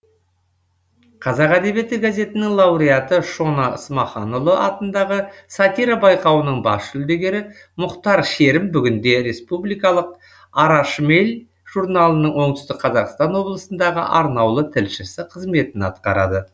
қазақ әдебиеті газетінің лауреаты шона смаханұлы атындағы сатира байқауының бас жүлдегері мұхтар шерім бүгінде республикалық ара шмель журналының оңтүстік қазақстан облысындағы арнаулы тілшісі қызметін атқарады